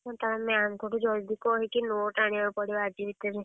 ତାହେଲେ ତ note ଙ୍କଠୁ ଜଲଦି କହିକି note ଆଣିଆକୁ ପଡିବ ଆଜି ଭିତରେ।